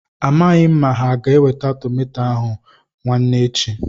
A maghị m ma ha ga-eweta tomato ahụ nwaane echi.